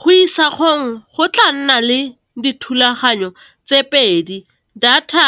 Go go tla nna le dithulaganyo tse pedi, data